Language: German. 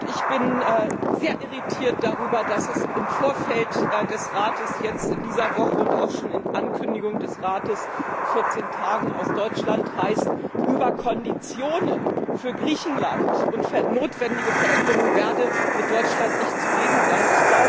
Ich bin sehr irritiert darüber, dass es im Vorfeld der Tagung des Europäischen Rates in dieser Woche und auch schon in Ankündigungen des Rates in 14 Tagen aus Deutschland heißt, über Konditionen für Griechenland und für notwendige Veränderungen werde mit Deutschland nicht zu reden sein.